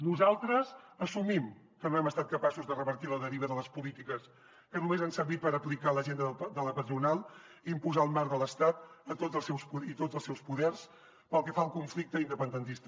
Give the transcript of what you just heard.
nosaltres assumim que no hem estat capaços de revertir la deriva de les polítiques que només han servit per aplicar l’agenda de la patronal i imposar el marc de l’estat i tots els seus poders pel que fa al conflicte independentista